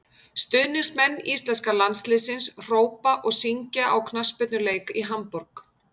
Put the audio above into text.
Stuðningsmenn íslenska landsliðsins hrópa og syngja á knattspyrnuleik í Hamborg.